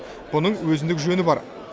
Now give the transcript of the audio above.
мұның өзіндік жөні бар